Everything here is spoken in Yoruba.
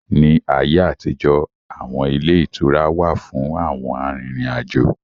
Ní ayé àtijó, awọn ilé ìtura wà fún àwọn arìnrìn-àjò